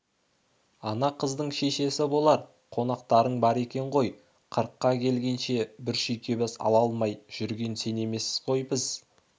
ана қыздың шешесі болар қонақтарың бар екен ғой қырыққа келгенше бір шүйкебас ала алмай жүрген сен емеспіз ғой біз